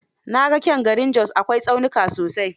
Na ga kyan garin Jos, akwai tsaunuka sosai..